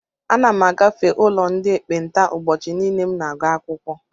Ana m agafe ụlọ ndị ekpenta ụbọchị niile m na-aga ụlọakwụkwọ.